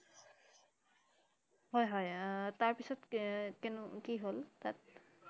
হয় হয় আহ তাৰ পিছত কেনু~কি হল তাত?